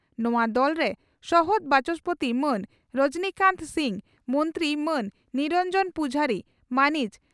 ᱱᱚᱣᱟ ᱫᱚᱞᱨᱮ ᱥᱚᱦᱚᱫ ᱵᱟᱪᱚᱥᱯᱳᱛᱤ ᱢᱟᱱ ᱨᱚᱡᱚᱱᱤᱠᱟᱱᱛ ᱥᱤᱝ, ᱢᱚᱱᱛᱨᱤ ᱢᱟᱹᱱ ᱱᱤᱨᱚᱱᱡᱚᱱ ᱯᱩᱡᱷᱟᱨᱤ, ᱢᱟᱱᱤᱡ